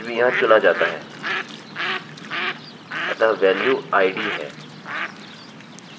value उसकी value रखता है जो कुछ भी यहाँ चुना जाता है; अतः वेल्यू id है